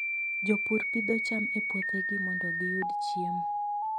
Jopur pidho cham e puothegi mondo giyud chiemo.